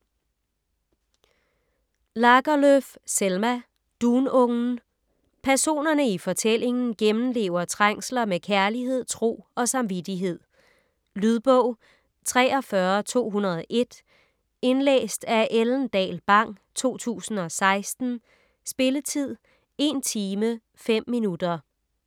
Lagerlöf, Selma: Dunungen Personerne i fortællingen gennemlever trængsler med kærlighed, tro og samvittighed. Lydbog 43201 Indlæst af Ellen Dahl Bang, 2016. Spilletid: 1 timer, 5 minutter.